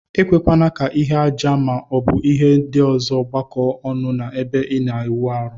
Ekwekwana ka ihe aja ma ọbu ihe ndi ọzọ gbakọ ọnụ na ebe ina awụ arụ.